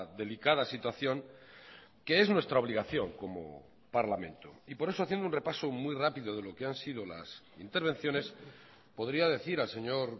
delicada situación que es nuestra obligación como parlamento y por eso haciendo un repaso muy rápido de lo que han sido las intervenciones podría decir al señor